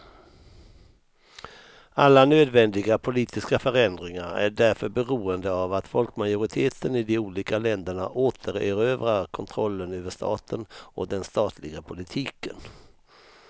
Alla nödvändiga politiska förändringar är därför beroende av att folkmajoriteten i de olika länderna återerövrar kontrollen över staten och den statliga politiken.